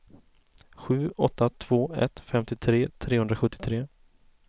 sju åtta två ett femtiotre trehundrasjuttiotre